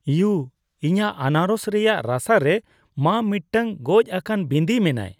U ! ᱤᱧᱟᱜ ᱟᱱᱟᱨᱚᱥ ᱨᱮᱭᱟᱜ ᱨᱟᱥᱟ ᱨᱮ ᱢᱟ ᱢᱤᱫᱴᱟᱝ ᱜᱚᱡᱼᱟᱠᱟᱱ ᱵᱤᱸᱫᱤ ᱢᱮᱱᱟᱭ ᱾